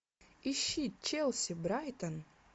ищи челси брайтон